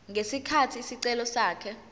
ngesikhathi isicelo sakhe